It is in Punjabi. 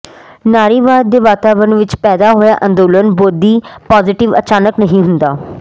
ਨਾਰੀਵਾਦ ਦੇ ਵਾਤਾਵਰਨ ਵਿਚ ਪੈਦਾ ਹੋਇਆ ਅੰਦੋਲਨ ਬੋਧੀਪੋਜ਼ਿਟੀਵ ਅਚਾਨਕ ਨਹੀਂ ਹੁੰਦਾ